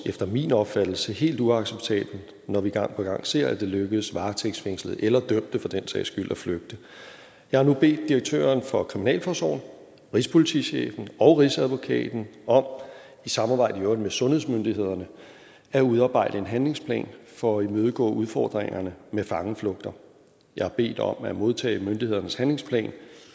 efter min opfattelse helt uacceptabelt når vi gang på gang ser at det lykkes varetægtsfængslede eller dømte for den sags skyld at flygte jeg har nu bedt direktøren for kriminalforsorgen rigspolitichefen og rigsadvokaten om i samarbejde i øvrigt med sundhedsmyndighederne at udarbejde en handlingsplan for at imødegå udfordringerne med fangeflugter jeg har bedt om at modtage myndighedernes handlingsplan